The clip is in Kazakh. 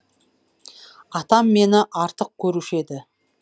атам мені артық көруші еді